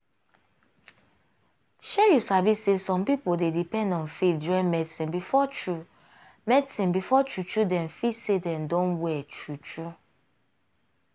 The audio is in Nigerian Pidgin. shey you sabi say some pipo dey depend on faith join medicine before true medicine before true true dem feel say dem don well true true.